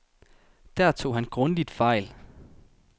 Der tog han grundigt fejl.